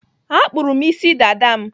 Akpụrụ m isi dada m.